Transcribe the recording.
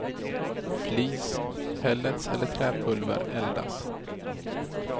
Flis, pellets eller träpulver eldas.